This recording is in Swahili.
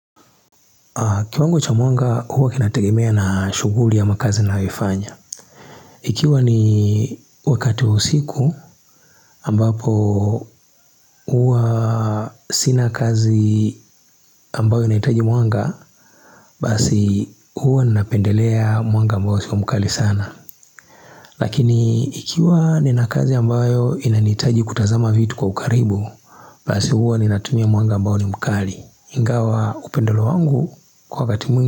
Kiwango cha mwanga huwa kinategemea na shughuli ama kazi ninayoifanya. Ikiwa ni wakati wa usiku ambapo huwa sina kazi ambayo inahitaji mwanga, basi huwa ninapendelea mwanga ambayo sio mkali sana. Lakini ikiwa ninakazi ambayo inanihitaji kutazama vitu kwa ukaribu, basi huwa ninatumia mwanga ambayo ni mkali. Ingawa upendeleo wangu kwa wakati mwingi.